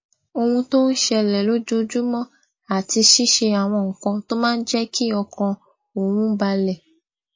ohun tó ń ṣẹlè lójoojúmó àti ṣíṣe àwọn nǹkan tó máa ń jé kí ọkàn òun balè